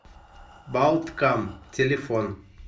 балткам телефон